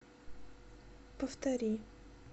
повтори